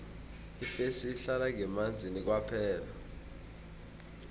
ifesi ihlala ngemanzini kwaphela